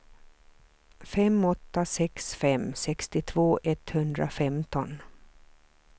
fem åtta sex fem sextiotvå etthundrafemton